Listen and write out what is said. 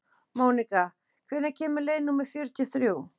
Mónika, hvenær kemur leið númer fjörutíu og þrjú?